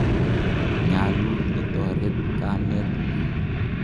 Nyalu itoret kamet ng'ung'.